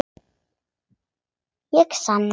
Ég sanna.